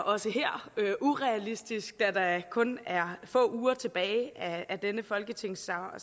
også her er urealistisk da kun er få uger tilbage af denne folketingssamling